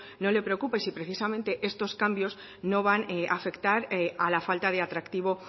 no le preocupa y si precisamente estos cambios no van a afectar a la falta de atractivo